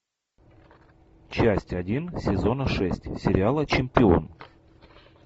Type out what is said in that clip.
часть один сезона шесть сериала чемпион